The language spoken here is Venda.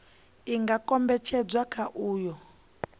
i nga kombetshedzwa kha uyo